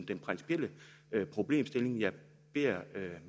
den principielle problemstilling jeg beder